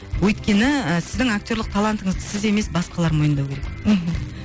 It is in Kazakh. өйткені ы сіздің актерлік талантыңызды сіз емес басқалар мойындау керек мхм